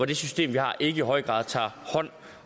det system vi har ikke i høj grad tager hånd